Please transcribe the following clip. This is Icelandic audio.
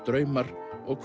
draumar og